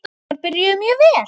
Sumarið byrjaði mjög vel.